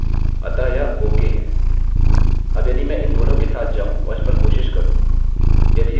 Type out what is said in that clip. अब यदि मैं इन दोनों के साथ जाऊँ और इस पर कोशिश करूँ